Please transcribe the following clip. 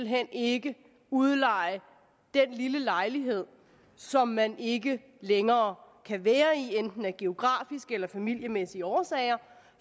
hen ikke udleje den lille lejlighed som man ikke længere kan være i af enten geografiske eller familiemæssige årsager